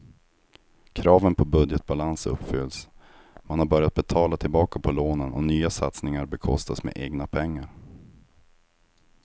Kraven på budgetbalans uppfylls, man har börjat betala tillbaka på lånen och nya satsningar bekostas med egna pengar.